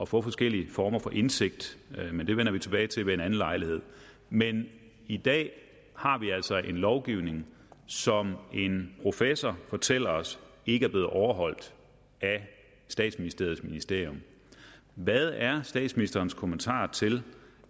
få forskellige former for indsigt det vender vi tilbage til ved en anden lejlighed men i dag har vi altså en lovgivning som en professor fortæller os ikke er blevet overholdt af statsministerens ministerium hvad er statsministerens kommentar til